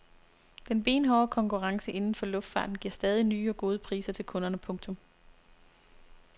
Den benhårde konkurrence inden for luftfarten giver stadig nye og gode priser til kunderne. punktum